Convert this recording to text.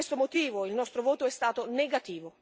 Per questo motivo il nostro voto è stato negativo.